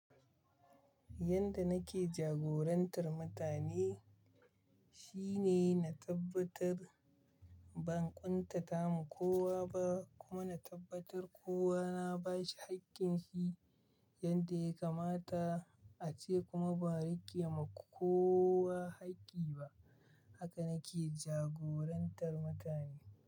Yanda nake jagorantar mutane shine na tabbatar ban ƙuntata ma kowa ba kuma na tabbatar kowa na bashi haƙƙin shi yanda ya kamata ace kuma ba riƙe ma kowa haƙƙi ba. Haka nake jagorantar mutane.